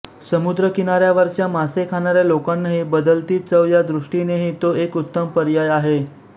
समुद्रकिनाऱ्यावरच्या मासे खाणाऱ्या लोकांनाही बदलती चव या दृष्टीनेही तो एक उत्तम पर्याय आहे